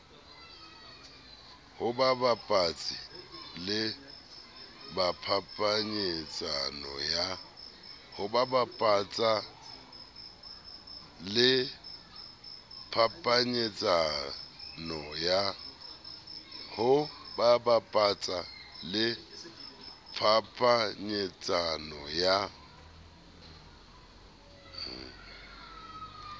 ho bapatsa le phapanyetsano ya